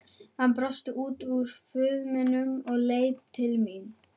Hann brosti út úr fuminu og leit til mín.